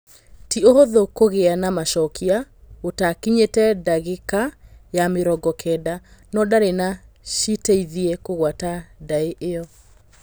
Tĩ ũhũthũ kũgĩ a na macokia gũtakinyĩ te ndagĩ ka ya mĩ rongo kenda, no ndari no citeithie kugwata ndaĩ iyo.